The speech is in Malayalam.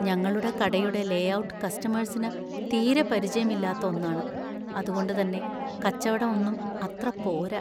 ഞങ്ങളുടെ കടയുടെ ലേഔട്ട് കസ്റ്റമേഴ്‌സിന് തീരെ പരിചയം ഇല്ലാത്ത ഒന്നാണ്; അതുകൊണ്ട് തന്നെ കച്ചവടം ഒന്നും അത്ര പോര.